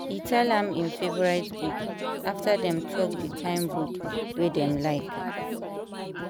e tell am im favourite book after dem talk di kain book wey dem like